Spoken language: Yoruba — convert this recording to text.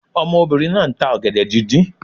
Omobìnrin náà nta ògèdè díndín